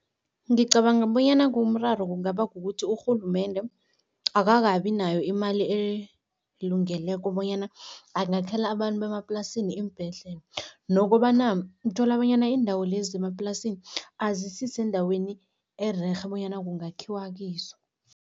Ngicabanga bonyana kumraro kungaba kukuthi urhulumende akakabi nayo imali elungeleko bonyana angakhela abantu bemaplasini iimbhedlela nokobana uthola bonyana iindawo lezi zemaplasini, azisisendaweni ererhe bonyana kungakhiwa kizo.